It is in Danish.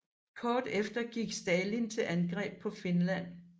Kort efter gik Stalin til angreb på Finland